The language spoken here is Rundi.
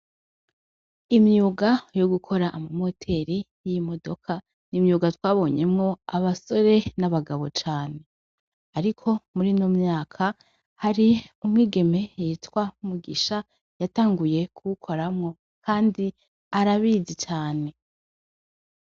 Imyuga yo gukora ama moteri y'imodoka, n’imyuga twabonyemwo abasore n'abagabo cane ariko murino myaka ,hari umwigeme yitwa Mugisha yatanguye kuwukoramwo kandi arabizi cane.